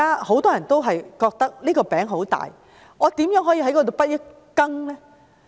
很多人問道："大灣區這塊餅很大，我如何可以分一杯羹呢？